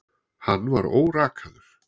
Hann var órakaður.